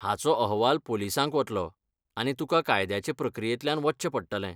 हाचो अहवाल पोलिसांक वतलो, आनी तुका कायद्याचे प्रक्रियेंतल्यान वचचें पडटलें.